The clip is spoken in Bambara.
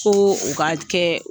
Ko, o ka kɛ